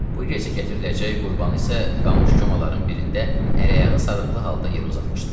Bu gecə gətiriləcək qurbanı isə qamış köməların birində əl-ayağı sarıqlı halda yerə uzatmışdılar.